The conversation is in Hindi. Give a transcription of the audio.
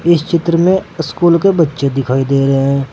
इस चित्र में इस्कूल के बच्चे दिखाई दे रहे।